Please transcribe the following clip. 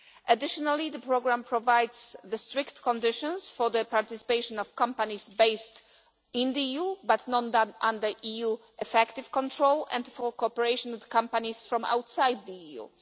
Additionally, the programme provides strict conditions for the participation of companies based in the EU but not under EU effective control, and for cooperation with companies from outside the EU.